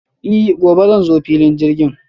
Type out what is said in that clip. I gobe zan zo filin jirgin.